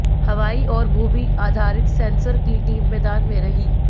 हवाई और भूमि आधारित सेंसर की टीम मैदान में रही